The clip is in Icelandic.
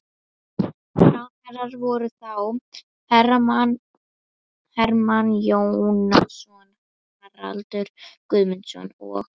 Ráðherrar voru þá: Hermann Jónasson, Haraldur Guðmundsson og